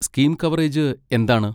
Scheme coverage എന്താണ്?